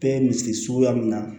Bɛɛ misiri suguya min na